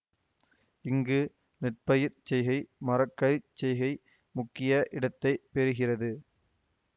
இங்கு நெற்பயிர்ச் செய்கை மர கறி செய்கை முக்கிய இடத்தை பெருகிறது